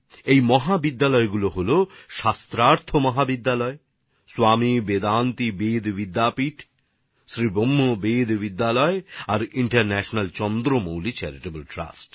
এই মহাবিদ্যালয়গুলি ছিলশাস্ত্রার্থ মহাবিদ্যালয় স্বামী বেদান্তি বেদ বিদ্যাপীঠ শ্রী ব্রহ্ম বেদ বিদ্যালয় আর ইন্টারন্যাশনাল চন্দ্রমৌলি চেরিটেবল ট্রাস্ট